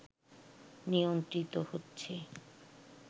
নিয়ন্ত্রিত হচেছ